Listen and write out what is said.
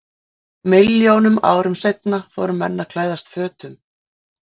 Milljónum árum seinna fóru menn að klæðast fötum.